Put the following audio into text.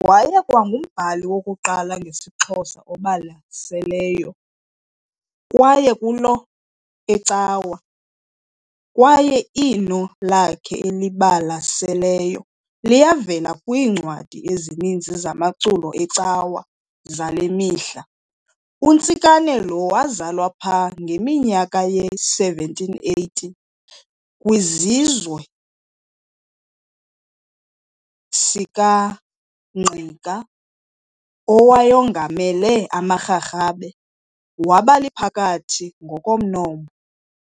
Wayekwangumbali wokuqala ngesixhosa obalaseleyo waekulo ecawa, kwaye iinno lakhe elibalaseleyo liyavela kwiincwadi ezininzi zamaculo ecawa zalemihla. UNtsikane lo wazalwa pha ngeminyaka ye-1780 kwiziswe sikaNgqika owayongamele amaRharhabe, wabaliphakathi ngokomnombo.